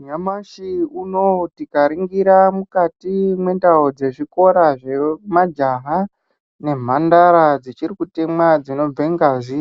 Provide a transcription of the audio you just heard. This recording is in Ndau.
Nyamashi unoo tikaningira mukati mwendau dzezvikora zvemajaha nemhandara dzichiri kutemwa dzinobve ngazi